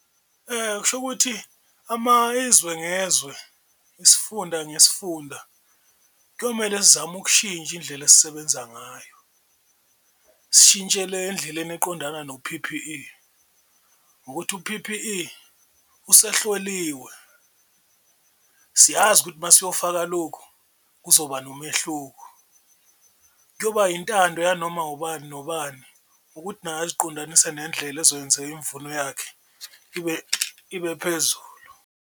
Kusho ukuthi izwe ngezwe isifunda nesifunda kuyomele sizame ukushintsha indlela esisebenza ngayo, sishintshele endleleni uqondana no-P_P_E ngokuthi u-P_P_E usehloliwe siyazi ukuthi uma siyofaka lukhu kuzoba nomehluko. Kuyoba intando yanoma ubani nobani ukuthi naye aziqondanise nendlela ezokwenza imvuno yakhe ibe ibe phezu.